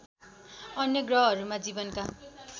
अन्य ग्रहहरूमा जीवनका